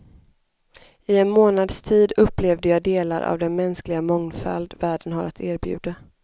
I en månads tid upplevde jag delar av den mänskliga mångfald världen har att erbjuda.